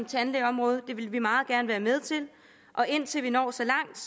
tandlægeområdet det vil vi meget gerne være med til og indtil vi når så langt